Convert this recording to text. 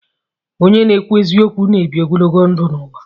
Onye na-ekwu eziokwu na-ebi ogologo ndụ n'ụwa